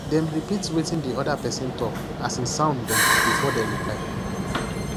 dem repeat wetin the other person talk as e sound them before they reply